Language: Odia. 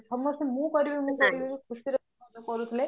ସମସ୍ତେ ମୁଁ କରିବି ମୁଁ କରିବି ଖୁସିରେ କରୁଥିଲେ